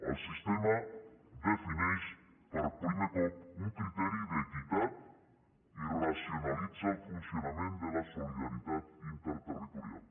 el sistema defineix per primer cop un criteri d’equitat i racionalitza el funcionament de la solidaritat interterritorial